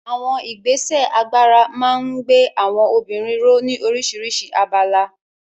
Àwọn ìgbésẹ̀ agbára máa ń gbé àwọn obìnrin ró ní oríṣiríṣi abala.